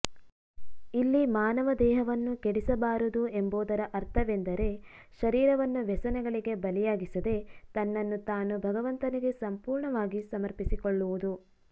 ಇಲ್ಲಿ ಮಾನವ ದೇಹವನ್ನು ಕೆಡಿಸಬಾರದು ಎಂಬುದರ ಅರ್ಥವೆಂದರೆ ಶರೀರವನ್ನು ವ್ಯಸನಗಳಿಗೆ ಬಲಿಯಾಗಿಸದೇ ತನ್ನನ್ನು ತಾನು ಭಗವಂತನಿಗೆ ಸಂಪೂರ್ಣವಾಗಿ ಸಮರ್ಪಿಸಿಕೊಳ್ಳುವುದು